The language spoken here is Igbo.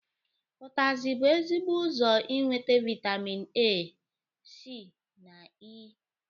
Ụtazi bụ ezigbo ụzọ inwete vaịtamin A, C na E.